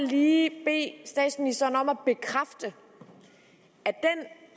lige bede statsministeren om at bekræfte at